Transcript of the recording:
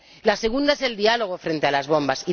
la segunda es el diálogo frente a las bombas